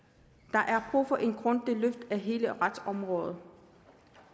der er brug for et grundigt løft af hele retsområdet